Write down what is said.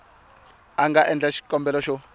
a nga endla xikombelo xo